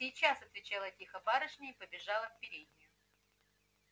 сейчас отвечала тихо барышня и побежала в переднюю